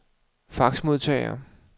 faxmodtager